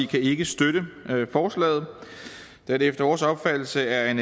kan ikke støtte forslaget da det efter vores opfattelse er